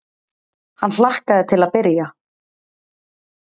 Hann hlakkaði til að byrja.